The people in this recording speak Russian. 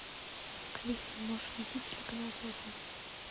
алиса можешь найти телеканал пятница